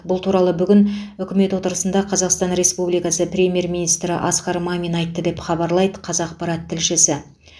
бұл туралы бүгін үкімет отырысында қазақстан республикасы премьер министрі асқар мамин айтты деп хабарлайды қазақпарат тілшісі